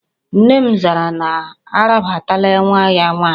Nne m zara na arabatala nwa ya nwaanyị